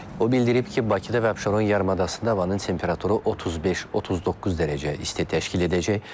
O bildirib ki, Bakıda və Abşeron yarımadasında havanın temperaturu 35-39 dərəcə isti təşkil edəcək.